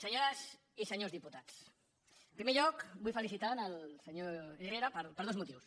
senyores i senyors diputats en primer lloc vull felicitar el senyor herrera per dos motius